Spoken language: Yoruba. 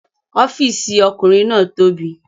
Ọ́fìsì ọkùnrin náà tóbi